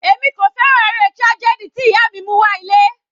Èmi kò fẹ́ràn eré tragedy tí ìyá mi mú wá ilé.